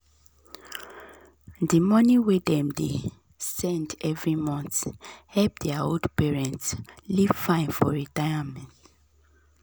the money wey dem dey send every month help their old parents live fine for retirement.